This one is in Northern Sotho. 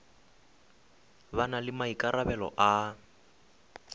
ba na le maikarabelo a